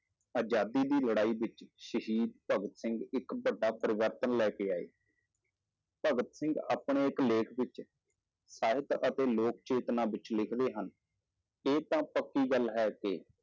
ਆਜ਼ਾਦੀ ਦੀ ਲੜਾਈ ਵਿੱਚ ਸ਼ਹੀਦ ਭਗਤ ਸਿੰਘ ਇੱਕ ਵੱਡਾ ਪਰਿਵਰਤਨ ਲੈ ਕੇ ਆਏ ਭਗਤ ਸਿੰਘ ਆਪਣੇ ਇੱਕ ਲੇਖ ਵਿੱਚ ਸਾਹਿਤ ਅਤੇ ਲੋਕ ਚੇਤਨਾ ਵਿੱਚ ਲਿਖਦੇ ਹਨ, ਇਹ ਤਾਂ ਪੱਕੀ ਗੱਲ ਹੈ ਕਿ